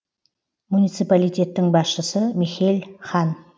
муниципалитеттің басшысы михель хан